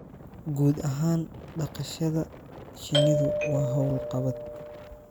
Guud ahaan, dhaqashada shinnidu waa hawlqabad